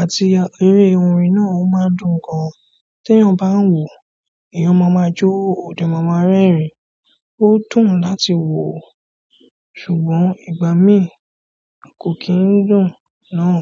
àti eré orin náà a máa ń dùn gan tí ẹyan bá ń wò ó, èèyàn máa ma jo, ọ̀dẹ́ máa ma rẹ́rìn-ín, ó dùn láti wo ó ṣùgbọ́n ìgbà mí kò kì n dùn náà.